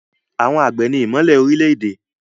Àwọn àgbẹ̀ ni ìmọ́lẹ̀ orílẹ̀-èdè.